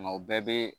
Nka o bɛɛ bɛ